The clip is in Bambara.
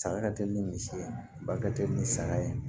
Saga ka teli ni misi ye ba ka teli ni saga ye